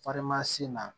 sen na